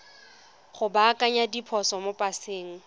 go baakanya diphoso mo paseng